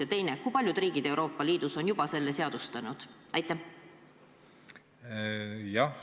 Ja teine: kui paljud Euroopa Liidu riigid on selle juba seadustanud?